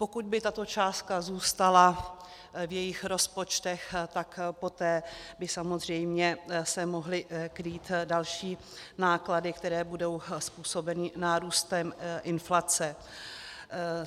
Pokud by tato částka zůstala v jejich rozpočtech, tak poté by samozřejmě se mohly krýt další náklady, které budou způsobeny nárůstem inflace.